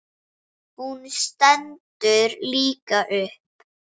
Hún stendur líka upp.